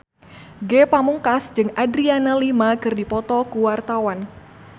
Ge Pamungkas jeung Adriana Lima keur dipoto ku wartawan